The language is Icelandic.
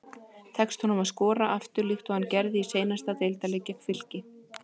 Tekst honum að skora aftur líkt og hann gerði í seinasta deildarleik gegn Fylki?